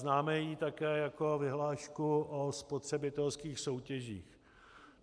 Známe ji také jako vyhlášku o spotřebitelských soutěžích.